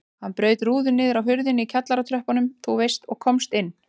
Hann braut rúðu niðri hjá hurðinni í kjallaratröppunum þú veist og komst inn.